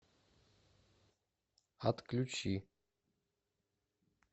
отключи